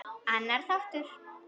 Annar þáttur